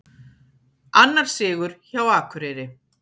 Annar sigur hjá Akureyri